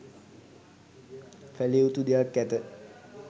කළයුතු දෙයක් ඇත.